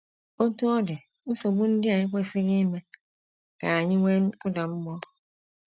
Otú ọ dị, nsogbu ndị a ekwesịghị ime ka anyị nwee nkụda mmụọ.